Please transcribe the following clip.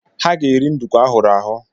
Ha ga-eri nduku ahụrụ ahụ.